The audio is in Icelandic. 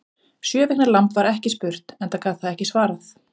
Sjö vikna lamb var ekki spurt, enda gat það ekki svarað.